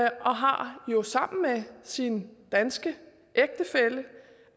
og har sammen med sin danske ægtefælle